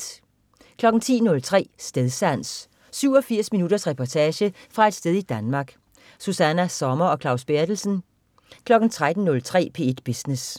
10.03 Stedsans. 87 minutters reportage fra et sted i Danmark. Susanna Sommer og Claus Berthelsen 13.03 P1 Business